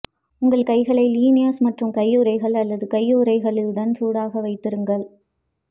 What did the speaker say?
உங்கள் கைகளை லினியர்ஸ் மற்றும் கையுறைகள் அல்லது கையுறைகளுடன் சூடாக வைத்திருங்கள்